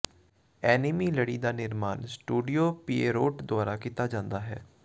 enemy ਲੜੀ ਦਾ ਨਿਰਮਾਣ ਸਟੂਡੀਓ ਪਿਏਰੋਟ ਦੁਆਰਾ ਕੀਤਾ ਜਾਂਦਾ ਹੈ